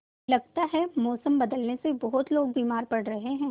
लगता है मौसम बदलने से बहुत लोग बीमार पड़ रहे हैं